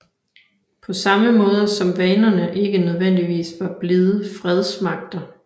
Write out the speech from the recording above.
På samme måde som vanerne ikke nødvendigvis var blide fredsmagter